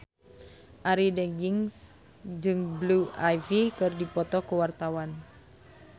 Arie Daginks jeung Blue Ivy keur dipoto ku wartawan